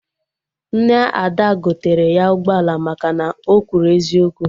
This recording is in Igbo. Nne Ada gotere ya ụgbọala maka na o kwuru eziokwu